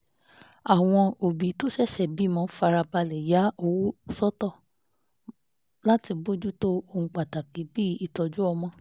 àwọn òbí tó ṣẹ̀ṣẹ̀ bímọ fara balẹ̀ ya owó sọ́tọ̀ láti bójú tó ohun pàtàkì bí ìtọ́jú ọmọ